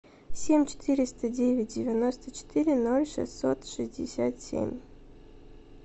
семь четыреста девять девяносто четыре ноль шестьсот шестьдесят семь